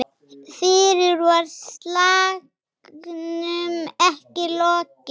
Fyrr var slagnum ekki lokið.